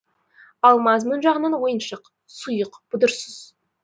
ал мазмұн жағынан ойыншық сұйық бұдырсыз